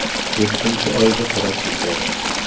Yettinchi oyga qarab ketyapmiz!